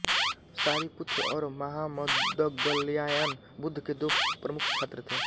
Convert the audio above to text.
शारिपुत्र और महामौदगल्यायन बुद्ध के दो प्रमुख छात्र थे